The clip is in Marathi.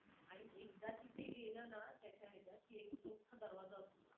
आणि एकदा तिथे गेलं ना, त्याच्या ह्याच्यात एक मोठा दरवाजा असतो.